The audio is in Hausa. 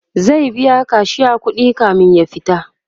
zai biya kashiya kuɗi kamin ya fita